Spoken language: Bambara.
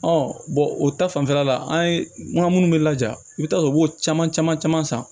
o ta fanfɛla la an ye n ka minnu bɛ laja i bɛ taa sɔrɔ u b'o caman caman caman san